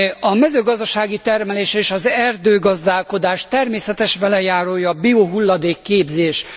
A mezőgazdasági termelés és az erdőgazdálkodás természetes velejárója a biohulladék képzés.